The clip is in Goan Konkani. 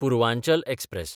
पुर्वांचल एक्सप्रॅस